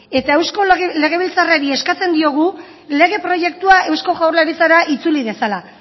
eta eusko legebiltzarrari eskatzen diogu lege proiektua eusko jaurlaritzara itzuli dezala